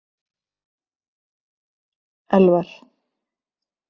Elvar